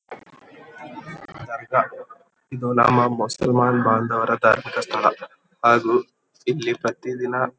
ಇದು ನಮ್ಮ ಮುಸಲ್ಮಾನ್ ಬಾಂಧವರ ಧಾರ್ಮಿಕ ಸ್ಥಳ ಹಾಗು ಇಲ್ಲಿ ಪ್ರತಿ ದಿನ--